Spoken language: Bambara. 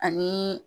Ani